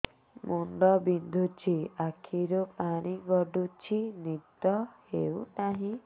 ମୁଣ୍ଡ ବିନ୍ଧୁଛି ଆଖିରୁ ପାଣି ଗଡୁଛି ନିଦ ହେଉନାହିଁ